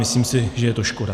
Myslím si, že je to škoda.